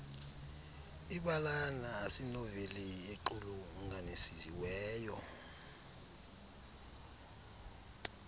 ibalana asinoveli equlunganisiweyo